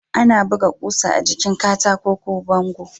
Ana buga ƙusa a jikin katako ko bango.